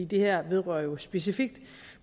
det her vedrører jo specifikt